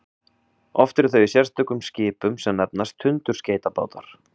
oft eru þau í sérstökum skipum sem nefnast tundurskeytabátar